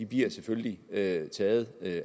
bliver selvfølgelig taget taget